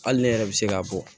Hali ne yɛrɛ bɛ se k'a bɔ